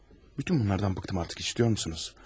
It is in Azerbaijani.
Bütün bunlardan bıxdım artıq, eşidirsiniz?